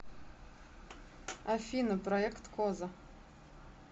афина проекткоза